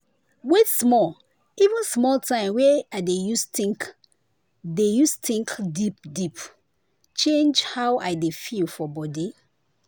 wait small even small time wey i dey use think dey use think deep deep change how i dey feel for body.